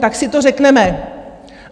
Tak si to řekneme.